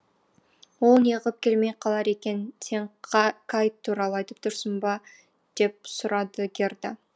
ол неғып келмей қалар екен сен кай туралы айтып тұрсың ба деп сұрады герда